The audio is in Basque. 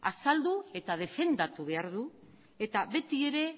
azaldu eta defendatu behar du eta beti ere